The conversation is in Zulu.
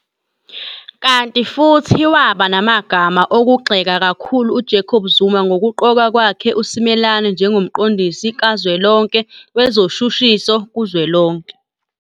Kanti futhi waba namagama okugxeka kakhulu uJacob Zuma ngokuqoka kwakhe uSimelane njengoMqondisi Kazwelonke Wezoshushiso kuzwelonke.